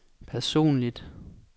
personligt